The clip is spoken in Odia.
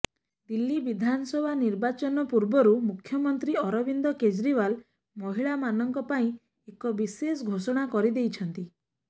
ଦିଲ୍ଲୀ ବିଧାନସଭା ନିର୍ବାଚନ ପୂର୍ବରୁ ମୁଖ୍ୟମନ୍ତ୍ରୀ ଅରବିନ୍ଦ କେଜରିଓ୍ବାଲ ମହିଳାମାନଙ୍କ ପାଇଁ ଏକ ବିଶେଷ ଘୋଷଣା କରି ଦେଇଛନ୍ତି